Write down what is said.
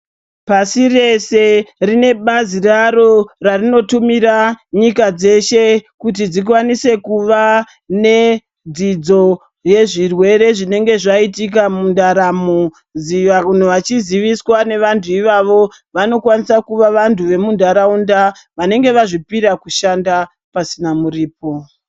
Pasi reshe, rine bazi raro rarinotumira nyika dzeshe kuti dzikwanise kuva nedzidzo yezvirwere zvinenge zvaitika mundaramo, vanhu vachiziviswa nevantu ivavo. Vanokwanisa kuva vantu vemuntaraunda vanenge vazvipira kushanda pasina muripo.